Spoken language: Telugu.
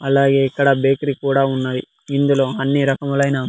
అలాగే ఇక్కడ బేకరీ కూడా ఉన్నాయి ఇందులో అన్ని రకములైన--